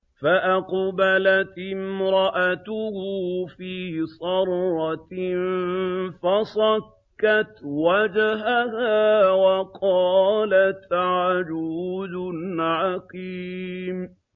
فَأَقْبَلَتِ امْرَأَتُهُ فِي صَرَّةٍ فَصَكَّتْ وَجْهَهَا وَقَالَتْ عَجُوزٌ عَقِيمٌ